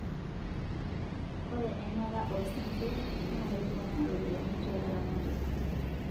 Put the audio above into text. Oree enata o singir na kepooma roopiani tolaramatak